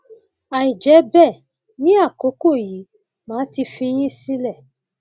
àìjẹ bẹẹ ní àkókò yìí màá ti fi yín sílẹ